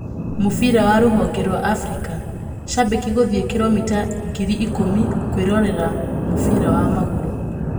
Mũbira wa rũhonge rwaAfrika: Shambikĩ gũthiĩ kiromita ngiri ikũmi kwĩrorera mũbira wa magũrũ.